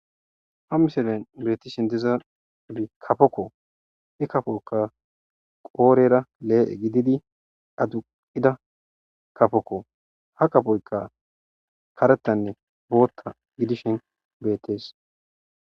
ha miselen biretishen diza abi kafokko i kapoyka qoorera lee7e gididi aduqida kafokko ha kafoykka karettanne bootta gidishen beettees